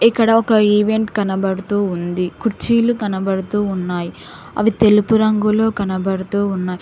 ఇక్కడ ఒక ఈవెంట్ కనబడుతూ ఉంది కుర్చీలు కనబడుతూ ఉన్నాయి అవి తెలుపు రంగులో కనబడుతూ ఉన్న--